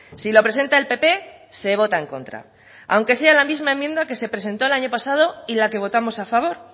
si lo presenta el pp se vota en contra aunque sea la misma enmienda que se presentó el año pasado y la que votamos a favor